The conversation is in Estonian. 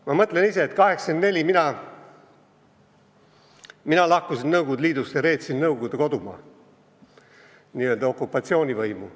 Ma mõtlen ise, et 1984 ma lahkusin Nõukogude Liidust ja reetsin Nõukogude kodumaa, n-ö okupatsioonivõimu.